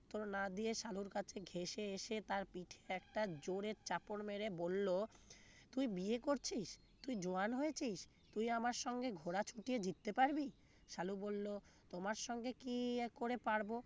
উত্তর না দিয়ে সালুর কাছে ঘেষে এসে তার পিঠে একটা জোরে চাপড় মেরে বলল তুই বিয়ে করছিস তুই জোয়ান হয়েছিস তুই আমার সঙ্গে ঘোড়া ছুটিয়ে জিততে পারবি সালু বললো তোমার সঙ্গে কি আর করে পারব